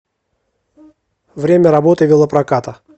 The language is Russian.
время работы велопроката